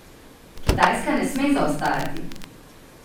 Kitajska ne sme zaostajati!